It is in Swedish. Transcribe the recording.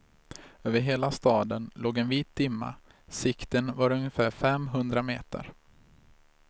Över hela staden låg en vit dimma, sikten var ungefär fem hundra meter.